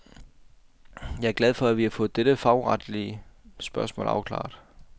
Jeg er glad for, at vi har fået dette fagretslige spørgsmål afklaret.